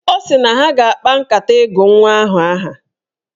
Ọ sị na ha ga-akpa nkata ịgụ nwa ahụ aha.